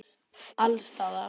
Alls staðar.